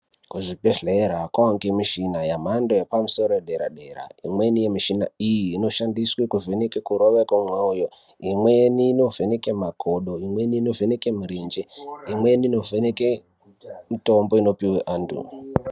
Kuzvibhedhlera kwaane mushina yemhando yepamusoro yedera dera imweni yemishina iyi inoshandiswe kuvheneke kurova kwemoyo imweni inovheneke makodo imweni inovheneke mirenje imweni inovheneke mitombo inopiwe antu.